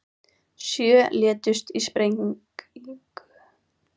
Sjö létust í sprengingu